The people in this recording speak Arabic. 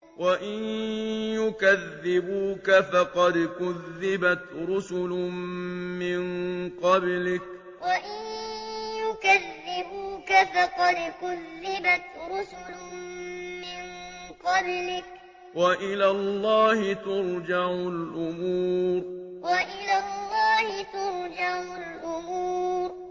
وَإِن يُكَذِّبُوكَ فَقَدْ كُذِّبَتْ رُسُلٌ مِّن قَبْلِكَ ۚ وَإِلَى اللَّهِ تُرْجَعُ الْأُمُورُ وَإِن يُكَذِّبُوكَ فَقَدْ كُذِّبَتْ رُسُلٌ مِّن قَبْلِكَ ۚ وَإِلَى اللَّهِ تُرْجَعُ الْأُمُورُ